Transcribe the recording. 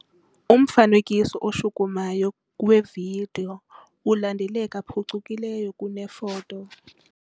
Umfanekiso oshukumayo wevidiyo ulandeleka phucukileyo kunefoto.